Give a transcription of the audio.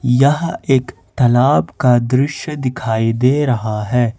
यह एक तालाब का दृश्य दिखाई दे रहा है।